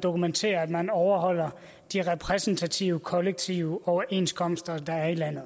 dokumentere at man overholdt de repræsentative kollektive overenskomster der er i landet